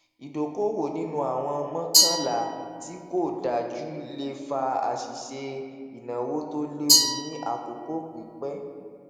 ìdokoowo nínú àwọn mọọkànlá tí kó dájú le fa àṣìṣe ináwó tó léwu ní àkókò pípẹ